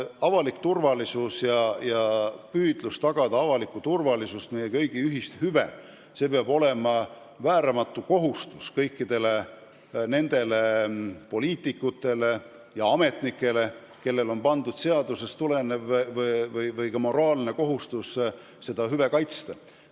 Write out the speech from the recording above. Üldine turvalisus, püüdlus tagada üldist turvalisust, meie kõigi ühist hüve, peab olema vääramatu kohustus kõikide poliitikute ja ametnike puhul, kellele on pandud seadusest tulenev või ka moraalne kohustus seda hüve kaitsta.